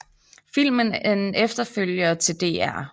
Filmen er en efterfølger til Dr